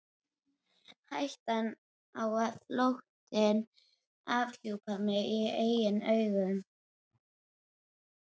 Hættan á að flóttinn afhjúpaði mig í eigin augum.